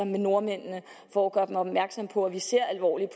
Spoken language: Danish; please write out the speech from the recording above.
med nordmændene for at gøre dem opmærksom på at vi ser alvorligt